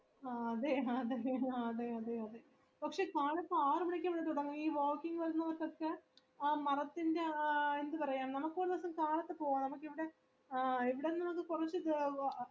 ആ അതെ അതെ അതെ അതെ കുറച് കാലത്ത് ആറുമണിക്ക് ഇവിടെ തുടങ്ങും ഈ walking വരുന്നവർക്കൊക്കെ ആ മരത്തിന്റെ ആ എന്താ പറയാ നമ്മക്ക് ഒരു ദിവാസോ കാലത് പോണം